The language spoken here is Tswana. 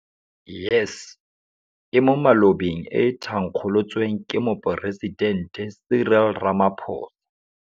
YES, e mo malobeng e thankgolotsweng ke Moporesitente Cyril Ramaphosa.